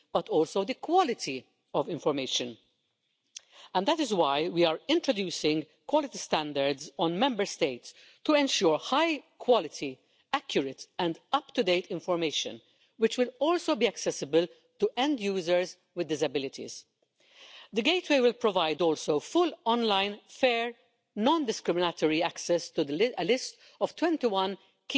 First, we want to inform people better because most people and businesses are really keen to respect the law, but imagine yourself settling in another country, even for a very short time, and think about how difficult it is to find out which rules you have to comply with, let alone in another language. Two in every three small enterprises say that finding out about applicable rules is a huge challenge for them for exporting.